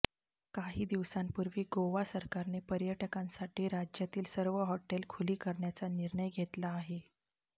काही दिवसांपूर्वी गोवा सरकारने पर्यटकांसाठी राज्यातील सर्व हॉटेल खुली करण्याचा निर्णय घेतला आहे